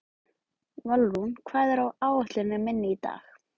Valrún, hvað er á áætluninni minni í dag?